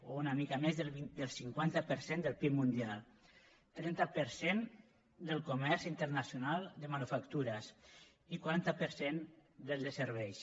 o una mica més del cinquanta per cent del pib mundial trenta per cent del comerç internacional de manufactures i quaranta per cent del de serveis